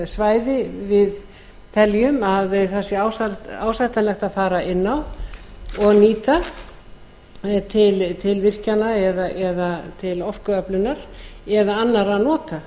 svæði við teljum að sé ásættanlegt að fara inn á og nýta til virkjana til orkuöflunar eða til annarra nota